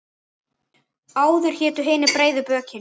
Áður hétu hinir breiðu bökin.